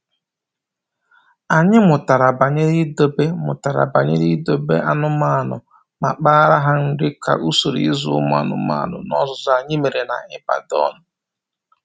Anyị mụtara banyere idobe mụtara banyere idobe anụmanụ ma kpaara ha nri ka usoro ịzụ anụmanụ n’ọzụzụ anyị mere na Ibadan.